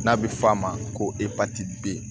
N'a bɛ f'a ma ko epatiti b